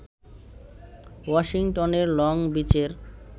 ওয়াশিংটনের লং-বিচের